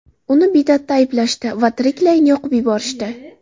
Uni bid’atda ayblashdi va tiriklayin yoqib yuborishdi.